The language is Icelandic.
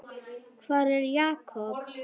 Hvar er Jakob?